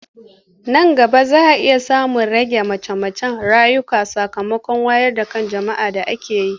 Nan gaba za a iya samun ragin mace-mace a ƙauyuka sakamakon wayar da kan jama'a da ake yi.